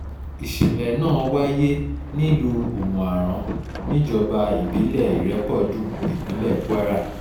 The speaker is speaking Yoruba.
ìṣẹ̀lẹ̀ náà wáyé nílùú omu-aran níjọba ìbílẹ̀ ìrépọ̀dùn ìpínlẹ̀ kwara